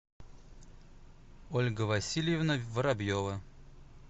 ольга васильевна воробьева